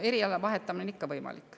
Eriala vahetamine on ikka võimalik.